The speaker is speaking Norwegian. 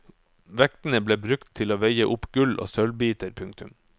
Vektene ble brukt til å veie opp gull og sølvbiter. punktum